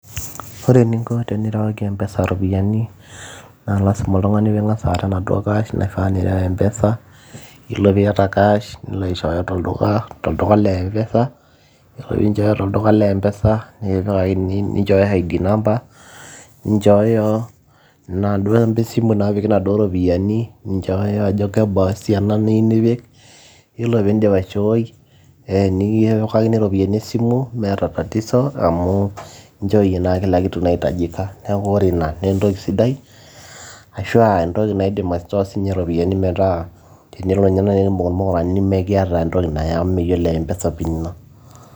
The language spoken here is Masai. Ore eninko tenirewaki empesa iropiyiani naa lazima oltung'ani pee ing'as aishooyo enaduo cash naifaa nireu empesa yiolo piata cash nilo aishoyo tolduka le empesa yiolo peinjooyo tolduka le empesa nikipikakini ninchooyo Id number nichooyo inaduoo amba esimu naapiki inaduo ropiyiani niyieu nipik ore peindip aishooi ee nikipikakini iropiyiani esimu meeta tatizo amu inchooyie naa kila kitu naitajika neeku ore ina naa entoki sidai ashau entoki naidim aishoo sii ninche iropiyiani metaa tenelo ninye naaji nikimbung irmukurani nemekiata entoki nayiolo empesa pin ino.